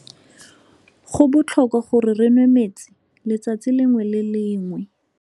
Go botlhokwa gore re nwê metsi letsatsi lengwe le lengwe.